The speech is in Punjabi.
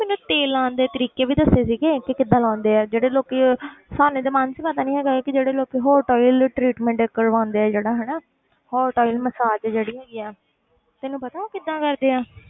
ਮੈਨੂੰ ਤੇਲ ਲਾਉਣ ਦੇ ਤਰੀਕੇ ਵੀ ਦੱਸੇ ਸੀਗੇ ਕਿ ਕਿੱਦਾਂ ਲਾਉਂਦੇ ਆ ਜਿਹੜੇ ਲੋਕੀ ਸਾਨੂੰ ਤੇ ਮਾਨਸੀ ਪਤਾ ਨੀ ਹੈਗਾ ਕਿ ਜਿਹੜੇ ਲੋਕੀ hot oil treatment ਕਰਵਾਉਂਦੇ ਆ ਜਿਹੜਾ ਹਨਾ ਮਸਾਜ ਜਿਹੜੀ ਹੈਗੀ ਹੈ ਤੈਨੂੰ ਪਤਾ ਕਿੱਦਾਂ ਕਰਦੇ ਆ।